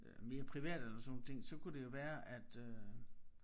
Øh mere privat eller sådan nogle ting så kunne det jo være at øh